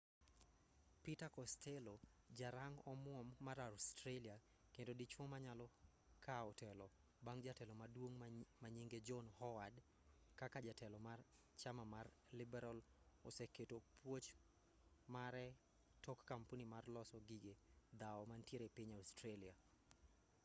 peter costello ja rang omuom mar australia kendo dichuo manyalo kaw telo bang' jatelo maduong' manyinge john howard kaka jatelo mar chama mar liberal oseketo puoch mare tok kampuni mar loso gige dhawo mantie piny australia